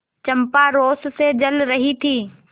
चंपा रोष से जल रही थी